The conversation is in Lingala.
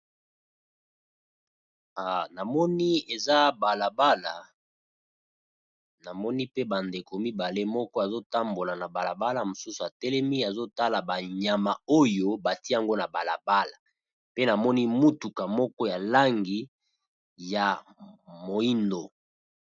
Na moni eza bala bala, na moni pe ba ndeko mibale, moko azo tambola na bala bala, mosusu a telemi azo tala ba nyama oyo bati'ango na bala bala pe na moni mutuka moko ya langi ya moyindo .